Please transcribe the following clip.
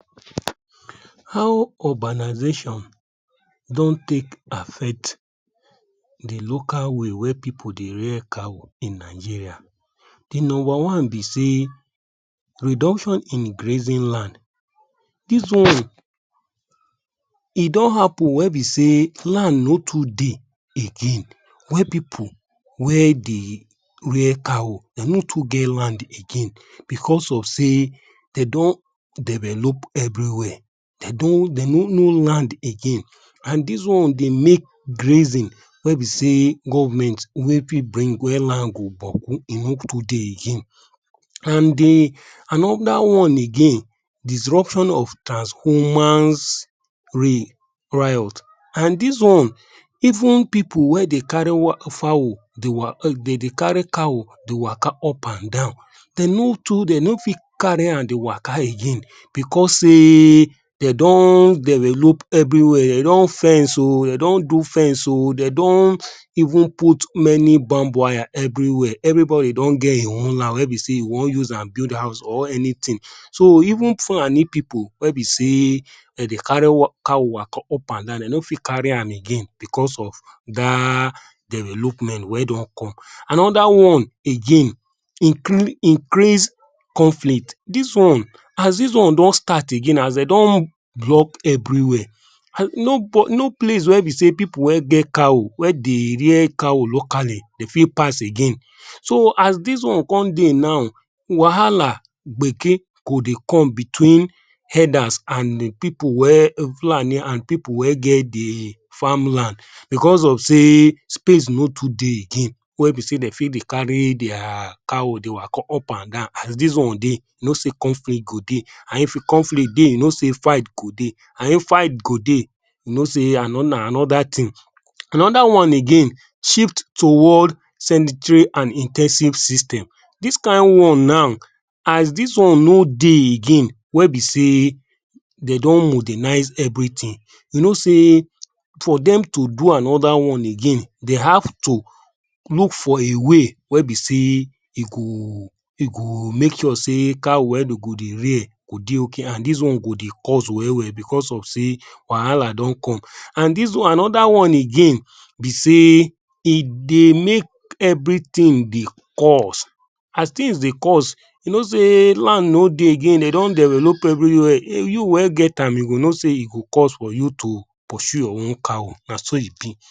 How urbanization don take affect the local way wey pipu dey rear cow in Nigeria. The number one be say, Reduction in grazing land. This one e don happen wey be say land no too dey again wey pipu. Wey dey rear cow dey no too get land again. Because of say dey don develop everywhere. Dey don, dey no no land again. And dis one dey make grazing wey be say government wey fit bring where land go boku e no too dey again. And the another one again disruption of trans humans riot. an dis wan, even pipu wey dey carry fowl, dey wa dey dey carry cow dey waka upandan dey no too, dey no fit dey carry an dey waka again because say dey don develop everywhere, dey don fence oh Dey don do fence oh. Dey don even put many bamb wire everywhere. Everybody don geh e own land wey be say e wan use am build house or anything. So even Fulani pipu wey be say dey dey carry cow waka upandan dem no fit carry am again because of da development wey don come. Another one again, increase conflict. Dis one, as dis one don start again, as dey don block everywhere. No No place wey be say pipu wey get cow, wey dey rear cow locally dey fit pass again. So, as dis one con dey now, wahala gbeke go dey come between herders and um people wey Fulani and pipu wey get di farm land because of say space no too dey again wey be say dey fit dey carry their cow dey waka upandan as dis one dey. You know say conflict go dey. And if conflict dey, you know say fight go dey, and if fight go dey you know say na another thing. Another one again Shift toward and in ten sive system. Dis kine one now as dis one no dey again wey be say, dey don modernize everything. You know say, for dem to do another one again, dey have to look for a way wey be say, e go, e go make sure say cow wey dey go dey rear go dey okay an dis one go dey cost well well because of say wahala don come. And dis one, another one again be say, e dey make everything dey cost. As things dey cost, you know say land no dey again. Dey don develop everywhere. You wey get am you go know say e go cost for you to pursue your own cow. na so e be